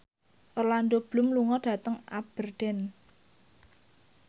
Orlando Bloom lunga dhateng Aberdeen